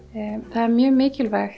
það er mjög mikilvægt